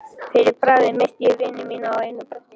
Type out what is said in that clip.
Fyrir bragðið missti ég vini mína á einu bretti.